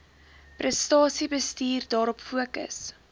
prestasiebestuur daarop fokus